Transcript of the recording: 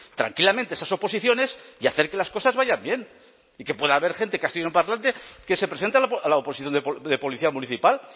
tranquilamente esas oposiciones y hacer que las cosas vayan bien y que pueda haber gente castellanoparlante que se presente a la oposición de policía municipal